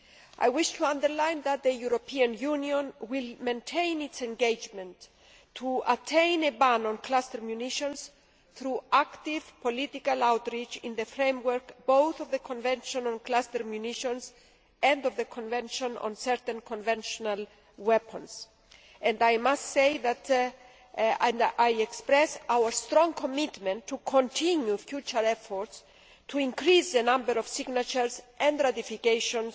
I wish to underline that the European Union will maintain its engagement to attain a ban on cluster munitions through active political outreach in the framework both of the Convention on Cluster Munitions and of the Convention on Certain Conventional Weapons, and I express our strong commitment to continuing future efforts to increase the number of signatures and ratifications